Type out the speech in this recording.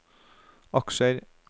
aksjer